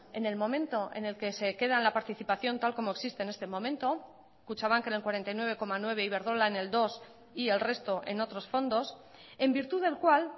en el momento en el que se quedan la participación tal como existe en este momento kutxabank en el cuarenta y nueve coma nueve iberdrola en el dos y el resto en otros fondos en virtud del cual